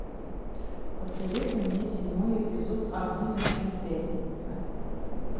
посоветуй мне седьмой эпизод огни ночной пятницы